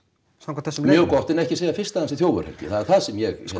samkvæmt þessum leiðum mjög gott en ekki segja fyrst að hann sé þjófur það er það sem ég